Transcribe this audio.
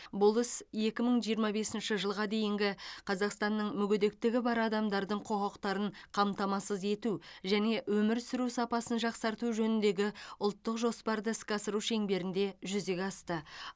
бұл іс екі мың жиырма бесінші жылға дейінгі қазақстанның мүгедектігі бар адамдардың құқықтарын қамтамасыз ету және өмір сүру сапасын жақсарту жөніндегі ұлттық жоспарды іске асыру шеңберінде жүзеге асты